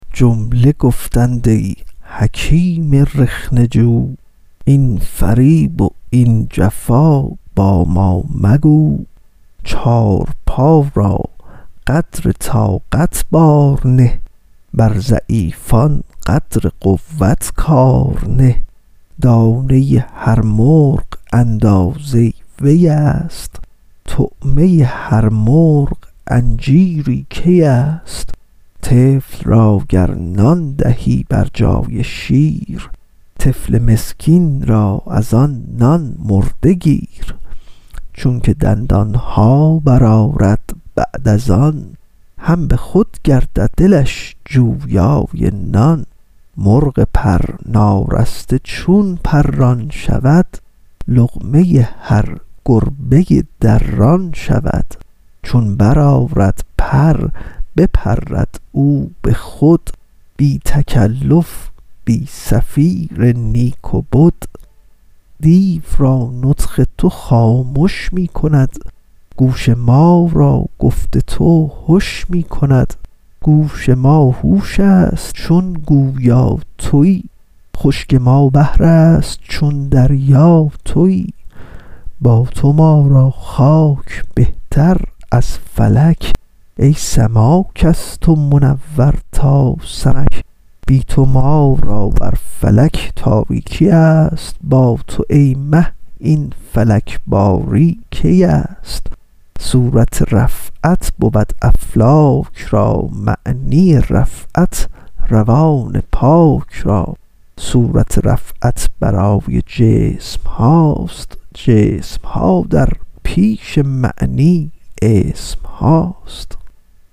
جمله گفتند ای حکیم رخنه جو این فریب و این جفا با ما مگو چارپا را قدر طاقت بار نه بر ضعیفان قدر قوت کار نه دانه هر مرغ اندازه ویست طعمه هر مرغ انجیری کیست طفل را گر نان دهی بر جای شیر طفل مسکین را از آن نان مرده گیر چونک دندانها بر آرد بعد از آن هم بخود گردد دلش جویای نان مرغ پر نارسته چون پران شود لقمه هر گربه دران شود چون بر آرد پر بپرد او بخود بی تکلف بی صفیر نیک و بد دیو را نطق تو خامش می کند گوش ما را گفت تو هش می کند گوش ما هوشست چون گویا توی خشک ما بحرست چون دریا توی با تو ما را خاک بهتر از فلک ای سماک از تو منور تا سمک بی تو ما را بر فلک تاریکیست با تو ای ماه این فلک باری کیست صورت رفعت بود افلاک را معنی رفعت روان پاک را صورت رفعت برای جسمهاست جسمها در پیش معنی اسمهاست